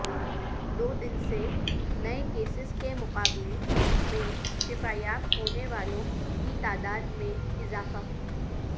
دو دن سے نئے کیسز کے مقابلہ میں شفایاب ہونے والوں کی تعداد میں اضافہ